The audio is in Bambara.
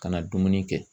Ka na dumuni kɛ